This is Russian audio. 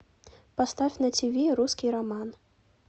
поставь на тиви русский роман